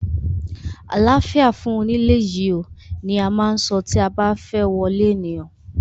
Àláfíà fún onílé yìí oo! ni a má ń so tí a ba fẹ́ wọlé ènìyàn.